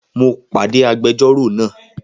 Mo pàdé agbẹjọ́rò náà